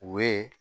U ye